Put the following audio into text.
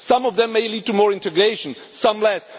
Some of them may lead to more integration some